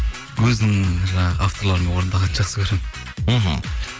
өзінің жаңағы авторларымен орындаған жақсы көремін мхм